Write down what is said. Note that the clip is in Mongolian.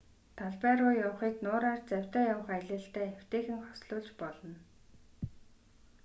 талбай руу явахыг нуураар завьтай явах аялалтай эвтэйхэн хослуулж болно